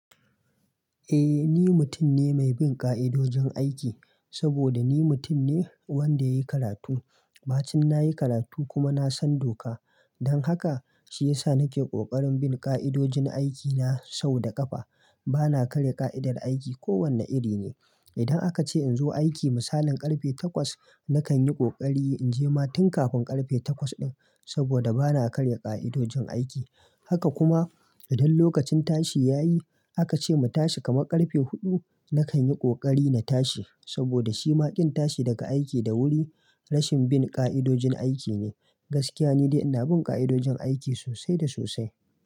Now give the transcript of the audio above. Eh ni mutum ne mai bin ƙa'idojin aiki, saboda ni mutum ne wanda yayi karatu. Ɓacin na yi karatu kuma na san doka. Don haka, shi ya sa nake ƙoƙarin bin ƙa'idojin aikina sau da ƙafa. Bana karya ƙa'idar aiki ko wane iri ne. Idan aka ce in zo aiki misalin ƙarfe takwas, na kan yi ƙoƙari in je ma tun kafin ƙarfe takwas ɗin, saboda bana karya ƙa'idojin aiki. Haka kuma idan lokacin tashi ya yi, aka ce mu tashi kamar ƙarfe huɗu, na kan yi ƙoƙari na tashi saboda shima ƙin tashi daga aiki da wuri rashin bin ƙa'idojin aiki ne. Gaskiya ni dai ina bin ƙa'idojin aiki sosai da sosai.